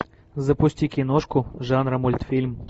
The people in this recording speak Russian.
запусти киношку жанра мультфильм